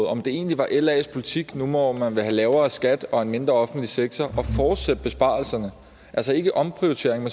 om det egentlig var las politik nu hvor man vil have lavere skat og en mindre offentlig sektor at fortsætte besparelserne altså ikke omprioritering